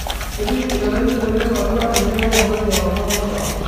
ketii enaimin oleng' atua ene toponai ewang'an oltaa